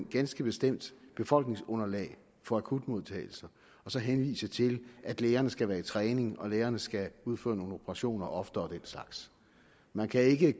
ganske bestemt befolkningsunderlag for akutmodtagelse så at henvise til at lægerne skal være i træning og at lægerne skal udføre nogle operationer oftere og den slags man kan ikke